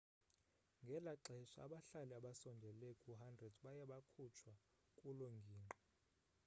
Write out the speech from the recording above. ngela xesha abahlali abasondele ku-100 baye bakhutshwa kuloo ngingqi